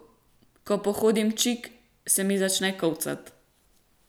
Ko pohodim čik, se mi začne kolcat.